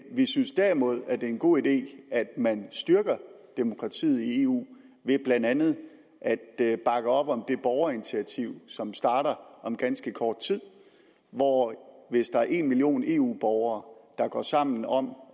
vi synes derimod at det er en god idé at man styrker demokratiet i eu ved blandt andet at bakke op om det borgerinitiativ som starter om ganske kort tid hvor hvis der er en million eu borgere der går sammen om